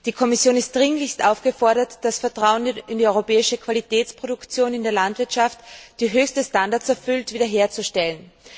Die Kommission ist dringlichst aufgefordert, das Vertrauen in die europäische Qualitätsproduktion in der Landwirtschaft, die höchste Standards erfüllt, wiederherzustellen.